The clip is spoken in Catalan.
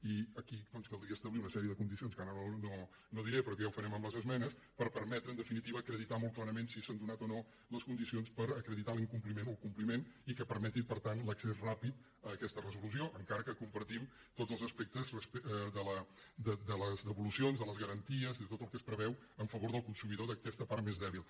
i aquí doncs caldria establir una sèrie de condicions que ara no diré però que ja ho farem amb les esmenes per permetre en definitiva acreditar molt clarament si s’han donat o no les condicions per acreditar l’incompliment o el compliment i que permeti per tant l’accés ràpid a aquesta resolució encara que compartim tots els aspectes de les devolucions de les garanties de tot el que es preveu a favor del consumidor d’aquesta part més dèbil